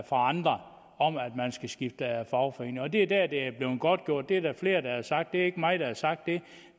fra andre om at man skal skifte fagforening og det er der hvor det er blevet godtgjort det er der flere der har sagt det er ikke mig der har sagt